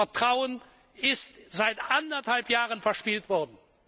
Dieses Vertrauen ist seit anderthalb Jahren verspielt worden.